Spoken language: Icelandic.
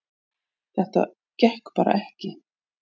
Þetta gekk bara ekki